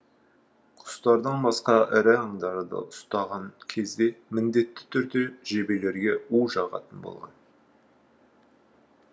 құстардан басқа ірі аңдарды ұстаған кезде міндетті түрде жебелерге у жағатын болған